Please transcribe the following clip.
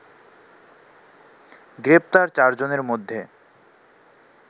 গ্রেপ্তার চারজনের মধ্যে